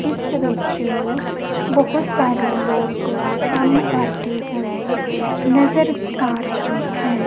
ਇਸ ਵਿੱਚ ਬਹੁਤ ਸਾਰੇ ਲੋਕ ਕੰਮ ਕਰਦੇ ਹੋਏ ਨਜ਼ਰ ਆ ਰਹੇ ਹੈ।